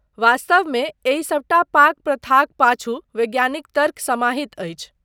वास्तवमे एहि सबटा पाक प्रथाक पाछू वैज्ञानिक तर्क समाहित अछि।